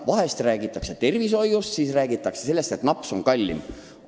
Vahepeal räägitakse tervishoiust, siis räägitakse sellest, et napsud on kallimad.